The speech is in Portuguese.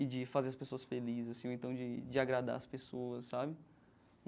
E de fazer as pessoas felizes, assim, ou então de de agradar as pessoas, sabe?